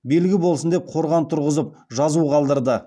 белгі болсын деп қорған тұрғызып жазу қалдырды